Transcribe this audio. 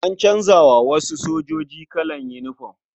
An canza wa wasu sojoji kalan yinifom.